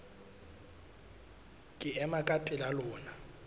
ke ema ka pela lona